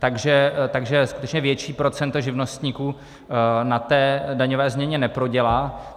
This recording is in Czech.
Takže skutečně větší procento živnostníků na té daňové změně neprodělá.